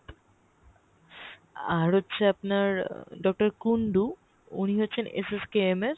আর হচ্ছে আপনার doctor কুন্ডু উনি বসেন হচ্ছেSSKMএর,